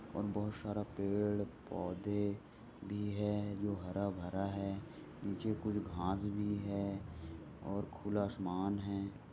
बहुत सारा पेड़ पौधे भी है हरा भरा है नीचे कुछ घास भी है और खुला आसमान है।